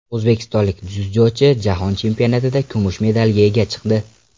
O‘zbekistonlik dzyudochi Jahon chempionatida kumush medalga ega chiqdi.